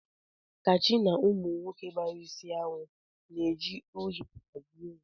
Kachi na Ụmụ nwoke gbara isi awọ na-eji uhie bajie ya